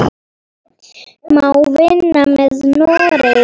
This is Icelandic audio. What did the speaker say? Má vinna með Noregi?